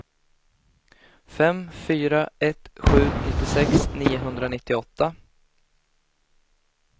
fem fyra ett sju nittiosex niohundranittioåtta